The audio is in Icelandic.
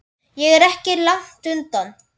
Ég er ekki langt undan.